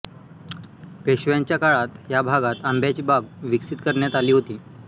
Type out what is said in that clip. पेशव्यांच्या काळात या भागात आंब्याची बाग विकसित करण्यात आली होती